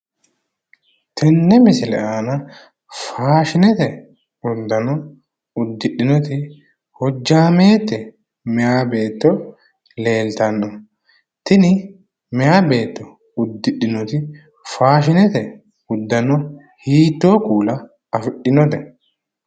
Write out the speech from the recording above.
Tenne misile aana faashinete uddanno uddidhinoti hojjaamete meyaa beetto leeltanno, tini meyaa beetto uddidhinoti faashinete uddanno hiittoo kuula afi'dhinote?